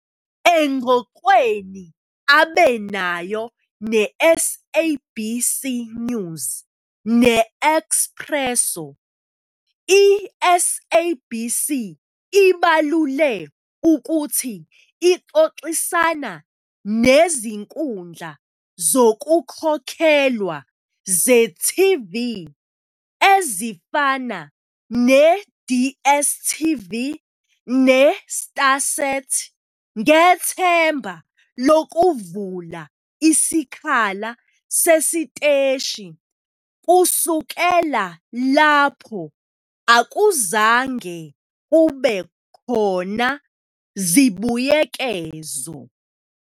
Engxoxweni abe nayo neSABC News neExpresso, i-SABC ibalule ukuthi ixoxisana nezinkundla zokukhokhelwa ze-TV ezifana ne-DStv ne-StarSat ngethemba lokuvula isikhala sesiteshi kusukela lapho akuzange kube khona zibuyekezo.